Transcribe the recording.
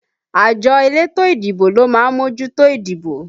Àjọ elétò ìdìbò ló má mójútó ìdìbò